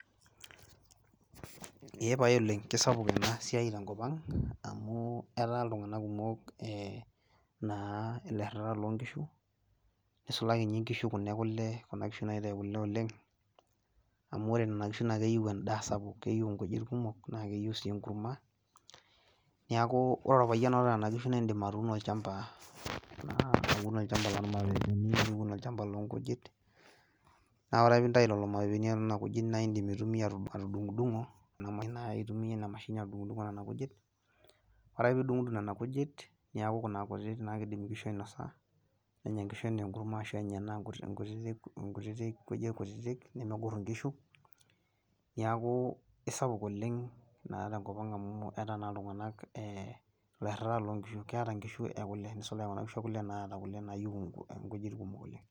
Eepae oleng' keisapuk enasiai tenkopang' amuu etaa iltung'ana kumok eeh naa ilairritak loonkishu neisulaki ninye nkishu kuna ekole, kuna kishu naitai kole oleng' amu kore nena kishu naakeyou endaa sapuk. Keyou inkujit kumok naakeyou sii enkurma, neakuu ore olpayian oata nena kishu naindim atuuno olchamba naa aun olchamba lolmaweweni niun olchamba loonkujit. Naa oreake piintai lelo maweweni onena kujit naaindim aitumia atudung'udung'o nena mashinini naa aitumia inamashini adung'udung' onena kujit. Ore ake pee idung'udung' nena kujit neaku kuna kutiti naakeidim inkishu ainosa nenya nkishu anaa enkurma ashu enya enaa nkutiti nkutitik kujit kutitik nemegorr inkishu. Neakuu sapuk oleng' naa tenkopang' amuu etaa naa iltung'anak ee ilairritak loonkishu keeta nkishu ekole neisulaki kuna kishu ekole naata kole naayou nkujit kumok oleng'.